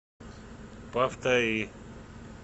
повтори